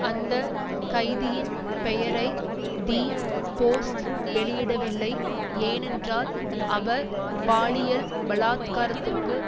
அந்த கைதியின் பெயரை தி போஸ்ட் வெளியிடவில்லை ஏனென்றால் அவர் பாலியல் பலாத்காரத்திற்கு